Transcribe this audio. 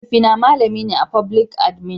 mahaifi na malamin be a foblik adimin